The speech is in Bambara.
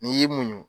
N'i y'i muɲu